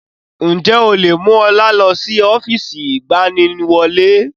Ǹjẹ́ o lè mú ọlá lọ sí ọ́fíìsì ìgbaniwọlé?